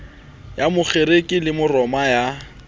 ya makgerike le maroma ya